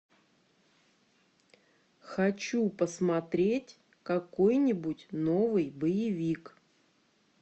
хочу посмотреть какой нибудь новый боевик